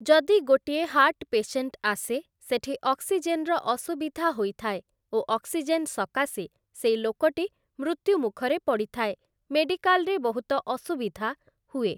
ଯଦି ଗୋଟିଏ heart patient ଆସେ, ସେଠି ଅକ୍ସିଜେନର ଅସୁବିଧା ହୋଇଥାଏ ଓ ଅକ୍ସିଜେନ ସକାଶେ ସେଇ ଲୋକଟି ମୃତ୍ୟୁ ମୁଖରେ ପଡ଼ିଥାଏ । ମେଡିକାଲରେ ବହୁତ ଅସୁବିଧା ହୁଏ ।